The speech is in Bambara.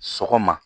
Sɔgɔma